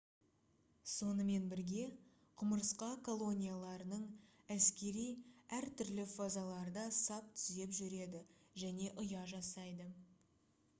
сонымен бірге құмырсқа колонияларының әскери әртүрлі фазаларда сап түзеп жүреді және ұя жасайды